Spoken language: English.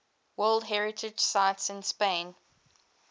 world heritage sites in spain